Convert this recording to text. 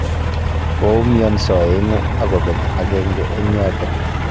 Koumionso aengu akobeek agenge eng yoto